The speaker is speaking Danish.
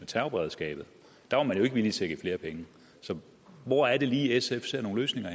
terrorberedskabet og man jo ikke villig til at give flere penge så hvor er det lige sf ser nogle løsninger